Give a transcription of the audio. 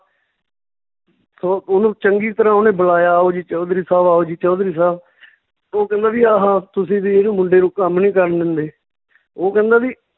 ਉਹ ਓਹਨੂੰ ਚੰਗੀ ਤਰ੍ਹਾਂ ਓਹਨੇ ਬੁਲਾਇਆ ਆਓ ਜੀ ਚੌਧਰੀ ਸਾਹਬ ਆਓ ਜੀ ਚੌਧਰੀ ਸਾਹਬ ਓਹ ਕਹਿੰਦਾ ਵੀ ਆਹਾ ਤੁਸੀਂ ਵੀ ਇਹਨੂੰ ਮੁੰਡੇ ਨੂੰ ਕੰਮ ਨੀ ਕਰਨ ਦਿੰਦੇ ਓਹ ਕਹਿੰਦਾ ਵੀ